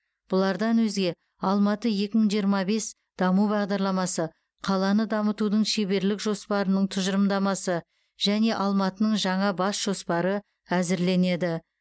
бұлардан өзге алматы екі мың жиырма бес даму бағдарламасы қаланы дамытудың шеберлік жоспарының тұжырымдамасы және алматының жаңа бас жоспары әзірленеді